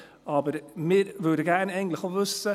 Aber wir würden eigentlich auch gerne wissen: